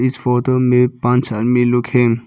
इस फोटो में पांच आदमी लोग हैं।